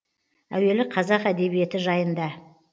әуелі қазақ әдебиеті жайында